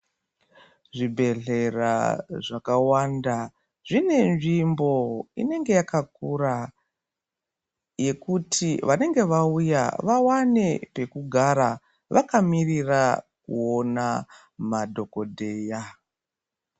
Zvibhedhlera zvakawanda zvine nzvimbo inenge yakakura yekuti wanenge wauya, wawane pekugara wakamirira kuona madhokotera.